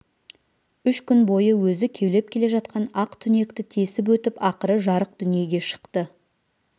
үш күн бойы өзі кеулеп келе жатқан ақ түнекті тесіп өтіп ақыры жарық дүниеге шықты